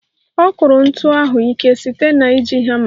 Ọ kụrụ ntu ahụ ike site na iji hama